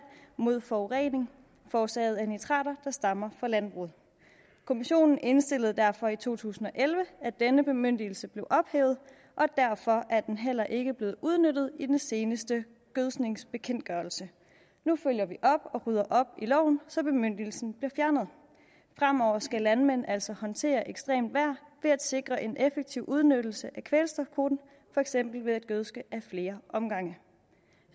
mod forurening forårsaget af nitrater der stammer fra landbruget kommissionen indstillede derfor i to tusind og elleve at denne bemyndigelse blev ophævet og derfor er den heller ikke blevet udnyttet i den seneste gødskningsbekendtgørelse nu følger vi op og rydder op i loven så bemyndigelsen bliver fjernet fremover skal landmænd altså håndtere ekstremt vejr ved at sikre en effektiv udnyttelse af kvælstofkvoten for eksempel ved at gødske ad flere omgange